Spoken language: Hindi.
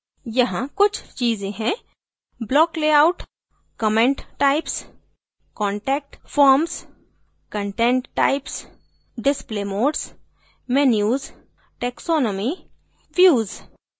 यहाँ कुछ चीज़ें हैंblock layout comment types contact forms content types display modes menus taxonomy views